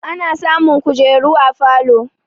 Ana samun kujeru a falo